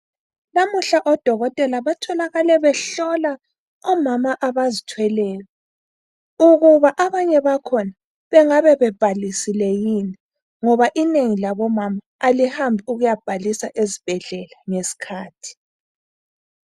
Namuhla odokotela batholakale behlola omama abazithweleyo ukuba abanye bakhona bengabe bebhalisile yini ngoba inengi labo mama alihambi ukuyabhalisa esibhedlela ngeskhathi